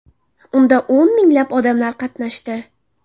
Unda o‘n minglab odamlar qatnashdi.